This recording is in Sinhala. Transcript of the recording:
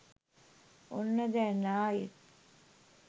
ඔන්න දැන් ආයෙත්